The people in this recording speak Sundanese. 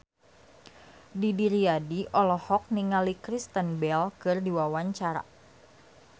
Didi Riyadi olohok ningali Kristen Bell keur diwawancara